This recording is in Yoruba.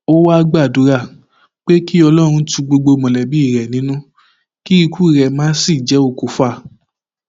ó wáá gbàdúrà pé kí ọlọrun tu gbogbo mọlẹbí rẹ nínú kí ikú rẹ má sì jẹ okùfà